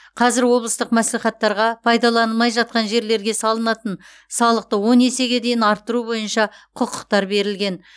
қазір облыстық мәслихаттарға пайдаланылмай жатқан жерлерге салынатын салықты он есеге дейін арттыру бойынша құқықтар берілген